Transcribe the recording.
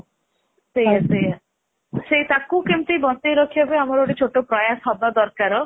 ସେଇଆ ସେଇଆ ତ୍ରାକୁ କେମିତି ବଞ୍ଚେଇ ରଖିବା ପାଇଁ ଆମର ଗୋଟେ ଛୋଟ ପ୍ରୟାସ ହବା ଦରକାର